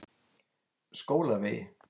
Skólavegi